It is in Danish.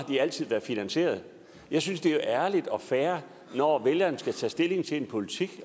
de altid været finansieret jeg synes det er ærligt og fair når vælgerne skal tage stilling til en politik